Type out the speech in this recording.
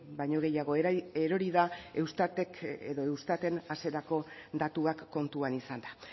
baino gehiago erori da eustatek edo eustaten hasierako datuak kontuan izanda